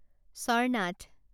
Charnath